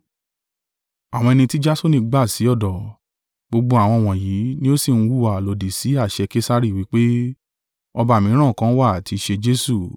Àwọn ẹni tí Jasoni gbà sí ọ̀dọ̀: gbogbo àwọn wọ̀nyí ni o sí ń hùwà lòdì sí àṣẹ Kesari, wí pé, ọba mìíràn kan wà tí í ṣe Jesu.”